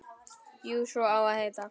Jú, svo á að heita.